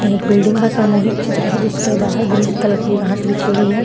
यह एक बिल्डिंग का सामूहिक चित्र है जिसके बाहर ग्रीन कलर की घास बिछी हुई हैं।